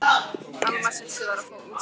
Alma systir var að fá úrskurð.